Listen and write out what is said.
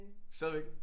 Stadigvæk